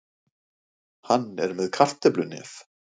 Hann er með kartöflunef.